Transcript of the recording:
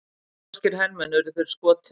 Norskir hermenn urðu fyrir skotum